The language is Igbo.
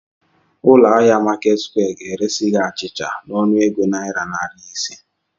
Ụlọ ahịa Marketsquare ga-eresi gị achịcha n'ọnụego naira narị ise.